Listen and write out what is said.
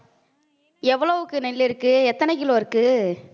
எவ்வளவுக்கு நெல் இருக்கு எத்தன கிலோ இருக்கு